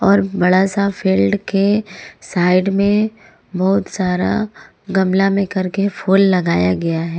और बड़ा सा फील्ड के साइड में बहुत सारा गमला में करके फूल लगाया गया है।